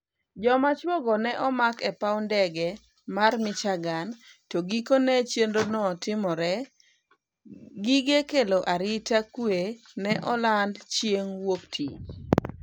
Joma chuo go ne omak e paw ndege mar Michigan to gikone chenro no timore, gige kelo arita kwe ne olando chieng' wuok tich